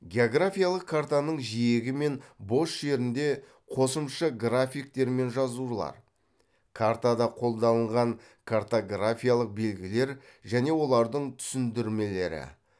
географиялық картаның жиегі мен бос жерінде қосымша графиктер мен жазулар картада қолданылған картографиялық белгілер және олардың түсіндірмелері